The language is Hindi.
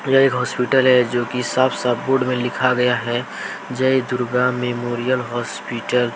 यह एक होस्पिटल है जो कि साफ साफ बोर्ड में लिखा गया है जय दुर्गा मेमोरियल होस्पिटल ।